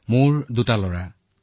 মোৰ দুজন লৰা সন্তান